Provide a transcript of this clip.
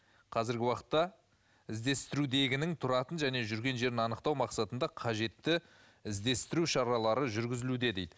қазіргі уақытта іздестірудегінің тұратын және жүрген жерін анықтау мақсатында қажетті іздестіру шаралары жүргізілуде дейді